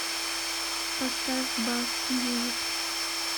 поставь басс мьюзик